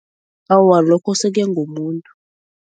Awa lokho sekuya ngomuntu.